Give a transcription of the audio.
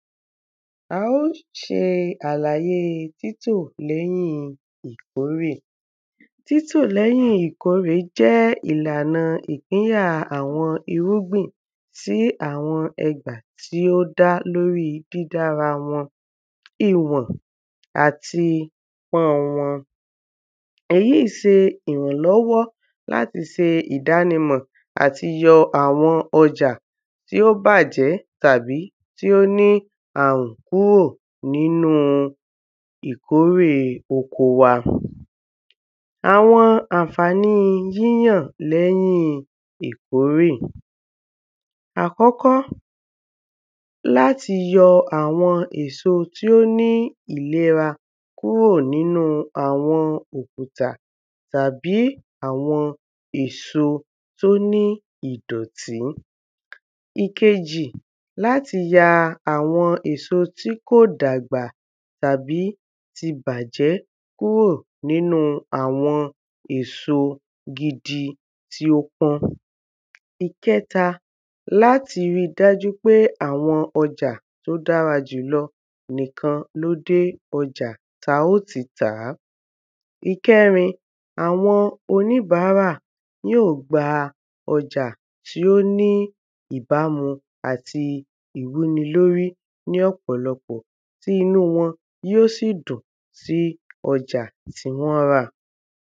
A ó ṣe àlàye títò l’ẹ́yìn ìkórè Títò l’ẹ́yìn ìkórè jẹ́ ìlàna ìpínyà àwọn irúgbìn sí awọn ẹdà tí ó dá l’órí dídára wọn iwọ̀n àti pọ́n wọn Èyí se ìrànlọ́wọ́ l’áti se ìdánimọ̀ àti yọ àwọn ọjà tí ó bàjẹ́ tàbí tí ó ní àrùn kúrò n'ínú ìkórè oko wa àwọn àǹfàni yíyàn l’ẹ́yin ìkórè Àkọ́kọ́, l’áti yọ àwọn èso tí ó ní ìlera kúrò n’ínú àwọn òkùtà tàbí àwọn èso t’ó ní ìdọ̀tí Ìkejì l’áti ya àwọn èso tí kò dàgbà tàbí ti bàjẹ́ kúrò n’ínu àwọn èso gidi tí ó pọ́n. Ìkẹta, l’áti ri dájú pé àwọn ọja t'ó dára jùlọ nìkan ló dé ọjà ta ó ti tàá. Ìkẹrin, àwọn oníbárà yí ò gba ọjà tí ó ní ìbámu àti ìwúni l'órí ní ọ̀pọ̀lọpọ̀ tí inú wọn yí ó sì dùn sí ọja tí wọ́n rà.